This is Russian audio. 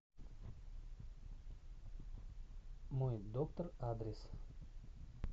мой доктор адрес